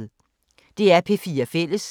DR P4 Fælles